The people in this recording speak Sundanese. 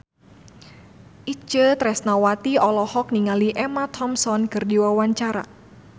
Itje Tresnawati olohok ningali Emma Thompson keur diwawancara